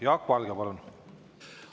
Jaak Valge, palun!